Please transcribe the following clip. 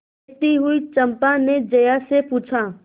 देखती हुई चंपा ने जया से पूछा